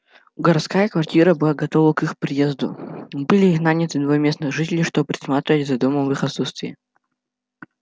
городская квартира была готова к их приезду были наняты два местных жителей чтобы присматривать за домом в их отсутствие